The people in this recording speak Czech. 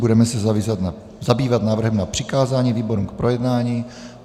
Budeme se zabývat návrhem na přikázání výborům k projednání.